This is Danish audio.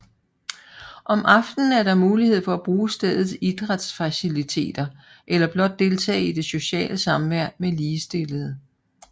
Om aftenen er der mulighed for at bruge stedets idrætsfaciliteter eller blot deltage i det sociale samvær med ligestillede